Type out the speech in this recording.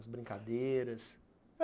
As brincadeiras?